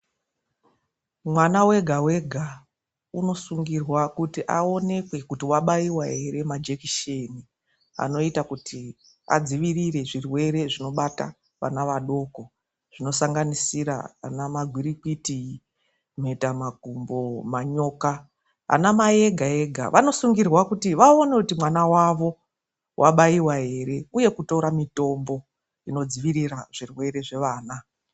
Mwana wega-wega unosungirwa kuti awonekwe kuti wabayiwa here ,majekiseni anoita kuti adzivirire zvirwere zvinobata vana vadoko zvinosanganisira gwirikwiti, mhetamakumbo, manyoka .Anamai ega-ega vanosungirwa kuti vawone kuti mwana wavo wabayiwa ere, uye kutora mitombo inodzivirira zvirwere zvevana.